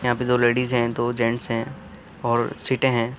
यहाँ पे दो लेडिज है | दो जैंट्स है और सीटें है |